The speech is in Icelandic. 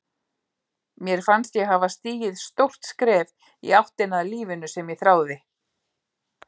Mér fannst ég hafa stigið stórt skref í áttina að lífinu sem ég þráði.